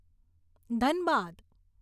Dhanbad